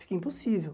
Fica impossível.